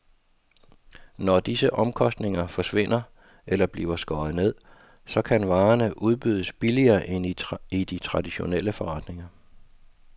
Når disse omkostninger forsvinder eller bliver skåret ned, så kan varerne udbydes billigere end i de traditionelle forretninger.